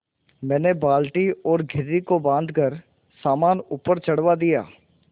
मैंने बाल्टी और घिर्री को बाँधकर सामान ऊपर चढ़वा दिया